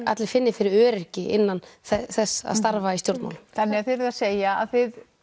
allir finni fyrir öryggi innan þess að starfa í stjórnmálum þannig að þið eruð að segja að þið